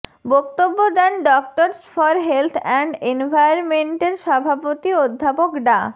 বক্তব্য দেন doctors for health and এনভায়রনমেন্টের সভাপতি অধ্যাপক ডা